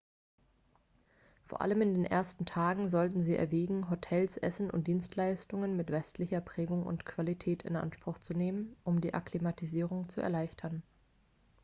vor allem in den ersten tagen sollten sie erwägen hotels essen und dienstleistungen mit westlicher prägung und qualität in anspruch zu nehmen um die akklimatisierung zu erleichtern